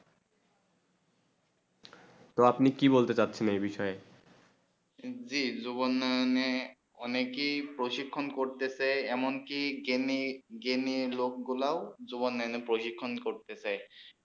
টি আপনি বলতে চাচ্ছেন এই বিষয়ে জী যুবজোনে অনেক ই প্রশিক্ষণ করতে চেন এমন কি গিনে গেনিয়ে লগ গুলু যুবনণে প্রশিক্ষণ করতেছে